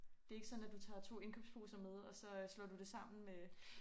Det ikke sådan at du tager 2 indkøbsposer med og så øh slår du det sammen med